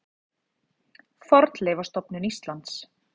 Fornleifastofnun Íslands.